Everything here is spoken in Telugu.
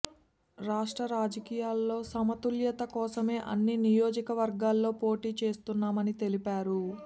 రాష్ట్ర రాజకీయాల్లో సమతుల్యత కోసమే అన్ని నియోజకవర్గాల్లో పోటీ చేస్తున్నామని తెలిపారు